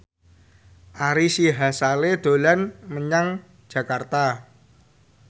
Ari Sihasale dolan menyang Jakarta